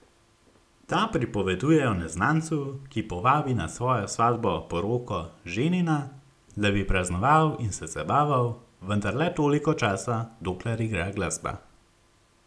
Ta pripoveduje o neznancu, ki povabi na svojo svatbo poroko ženina, da bi praznoval in se zabaval, vendar le toliko časa, dokler igra glasba.